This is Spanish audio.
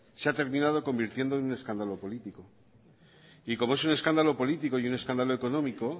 se ha terminado convirtiendo en un escándalo político y como es un escándalo político y un escándalo económico